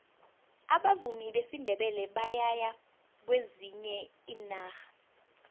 abavumi besindebele bayaya kwezinye iinarha